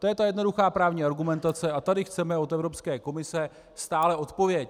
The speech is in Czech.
To je ta jednoduchá právní argumentace a tady chceme od Evropské komise stále odpověď.